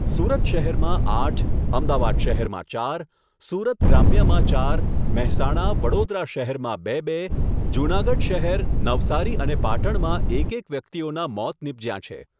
સુરત શહેરમાં આઠ, અમદાવાદ શહેરમાં ચાર, સુરત ગ્રામ્યમાં ચાર, મહેસાણા, વડોદરા શહેરમાં બે બે, જૂનાગઢ શહેર, નવસારી અને પાટણમાં એક એક, વ્યક્તિઓના મોત નિપજ્યાં છે.